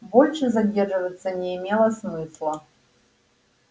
больше задерживаться не имело смысла